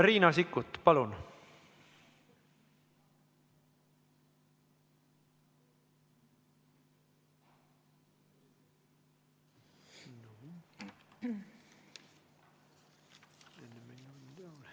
Riina Sikkut, palun!